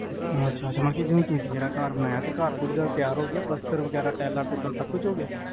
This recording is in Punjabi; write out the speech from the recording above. ਅੱਛਾ ਅੱਛਾ ਮੈਂ ਕਿਹਾ ਤੁਸੀ ਜਿਹੜਾ ਘਰ ਬਣਾਇਆ ਤੇ ਘਰ ਪੂਰੀ ਤਰਾਂ ਤਿਆਰ ਹੋ ਗਿਆ ਪਲਾਸਤਰ ਵਗੈਰਾ ਟਾਈਲਾਂ ਟੁਲਾ ਸਬ ਕੁਝ ਹੋ ਗਿਆ